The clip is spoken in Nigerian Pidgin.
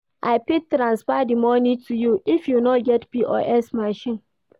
I fit transfer di moni to you if you no get POS machine.